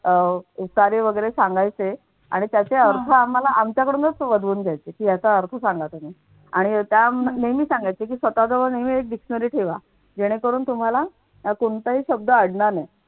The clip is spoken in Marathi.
अह उतारे वगैरे सांगायचे आणि त्याचे अर्थ आम्हाला आमच्याकडूनच वदवून घ्यायचे याचा अर्थ सांगा तुम्ही आणि त्या नेहमी सांगायचे की स्वतःजवळ नेहमी एक dictionary ठेवा जेणेकरून तुम्हाला कोणताही शब्द अडणार नाही.